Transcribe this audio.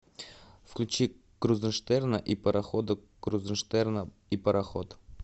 включи крузенштерна и парохода крузенштерна и пароход